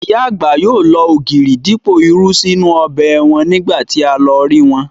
Ìyá àgbà yóò lo ògìrì dípò irú sí inú ọbẹ̀ wọn ní ìgbà tí a lọ rí wọn